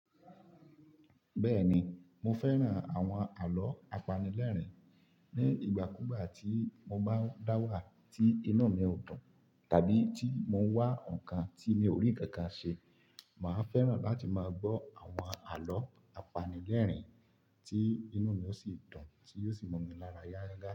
Bẹ́ẹ̀ni, mo fẹ́ràn àwọn àlọ́ apanilẹ́rìn-ín. Ni ìgbà kú gbà tí mo bá dá wà tí inú mi ò dùn, tàbí tí mo wá nǹkan tí mi ò rí kankan ṣe, màá fẹ́ràn láti máa gbọ́ àwọn àlọ́ apanilẹ́rìn-ín tí inú mi ó sì dùn, tí yóò sì mú mí lára yááyà.